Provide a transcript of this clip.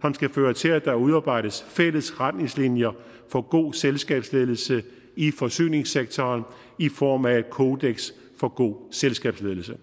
som skal føre til at der udarbejdes fælles retningslinjer for god selskabsledelse i forsyningssektoren i form af et kodeks for god selskabsledelse